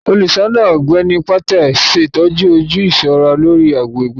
Olùṣọ náà, Ọgbẹni Patel, ṣetọju oju iṣọra lórí agbègbè naa.